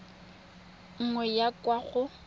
nngwe go ya kwa go